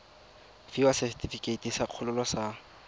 fiwa setefikeiti sa kgololo sa